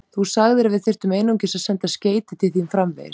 Þú sagðir, að við þyrftum einungis að senda skeyti til þín framvegis.